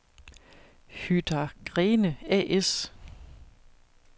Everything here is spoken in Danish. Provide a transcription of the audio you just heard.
Hydra-Grene A/S